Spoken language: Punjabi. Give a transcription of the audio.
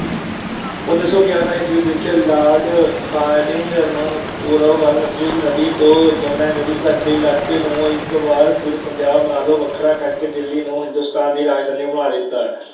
ਉਨੀ ਸੌ ਗਿਆਰਾਂ ਈਸਵੀ ਵਿੱਚ Lord Hardinge ਨੇ ਪੂਰਬ ਵੱਲ ਸਤਲੁਜ ਨਦੀ ਤੋਂ ਜਮੁਨਾ ਨਦੀ ਦੇ ਇਲਾਕੇ ਨੂੰ ਇਕ ਵਾਰ ਫਿਰ ਪੰਜਾਬ ਨਾਲੋਂ ਵੱਖਰਾ ਕਰਕੇ ਦਿੱਲੀ ਨੂੰ ਹਿੰਦੂਸਤਾਨ ਦੀ ਰਾਜਧਾਨੀ ਬਣਾ ਦਿੱਤਾ।